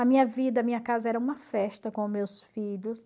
A minha vida, a minha casa era uma festa com meus filhos.